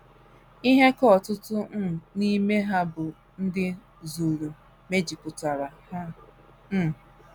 Ihe ka ọtụtụ um n’ime ha bụ ndị Zulu mejupụtara ha. um